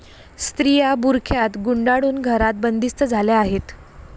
स्त्रिया बुरख्यात गुंडाळून घरात बंदिस्त झाल्या आहेत.